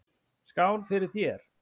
Skál fyrir þér!